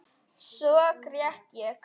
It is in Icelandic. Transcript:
Svo grét ég.